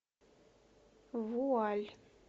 вуаль